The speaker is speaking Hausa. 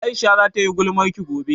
Aisha za ta yi gulmarki gobe